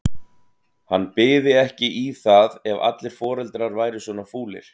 Hann byði ekki í það ef allir foreldrar væru svona fúlir.